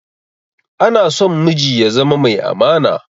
Anason miji ya zama mai amana